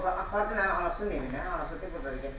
O apardı mənim anasının evinə, hal-hazırda burda.